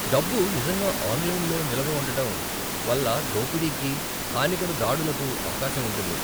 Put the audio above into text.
డబ్బు నిజంగా 'ఆన్లైన్'లో నిలవ ఉండటం వల్ల దోపిడీకీ, హానికర దాడులకు అవకాశం ఉంటుంది.